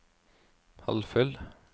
halvfull